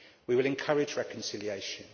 We will encourage reconciliation.